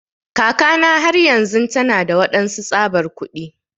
Kakana har yanzun tana da waɗansu tsabar kuɗi.